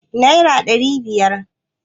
naira ɗari biyar